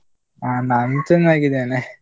ಅಹ್ ನಾನು ಚೆನ್ನಾಗಿದ್ದೇನೆ.